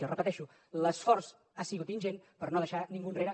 ho repeteixo l’esforç ha sigut ingent per no deixar ningú enrere